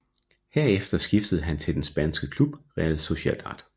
Herefter skiftede han til den spanske klub Real Sociedad